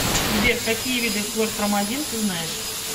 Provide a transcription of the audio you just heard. сбер какие виды хлорпромазин ты знаешь